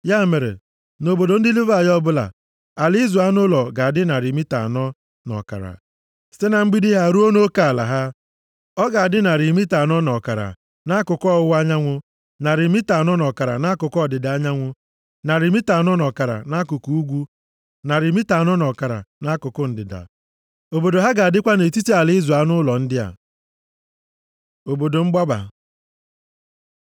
Ya mere nʼobodo ndị Livayị ọbụla, ala ịzụ anụ ụlọ ga-adị narị mita anọ na ọkara site na mgbidi ha ruo nʼoke ala ha. Ọ ga-adị narị mita anọ na ọkara nʼakụkụ ọwụwa anyanwụ, narị mita anọ na ọkara nʼakụkụ ọdịda anyanwụ, narị mita anọ na ọkara nʼakụkụ ugwu, narị mita anọ na ọkara nʼakụkụ ndịda. Obodo ha ga-adịkwa nʼetiti ala ịzụ anụ ụlọ ndị a. Obodo mgbaba